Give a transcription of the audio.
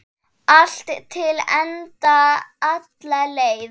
Allt til enda, alla leið.